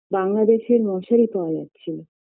বাংলাদেশের মশারী পাওয়া যাচ্ছিলো